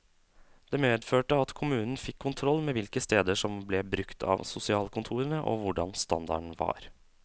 Det medførte at kommunen fikk kontroll med hvilke steder som ble brukt av sosialkontorene, og hvordan standarden var.